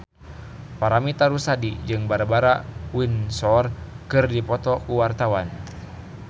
Paramitha Rusady jeung Barbara Windsor keur dipoto ku wartawan